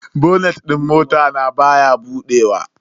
Bonet din motan baya buduwa.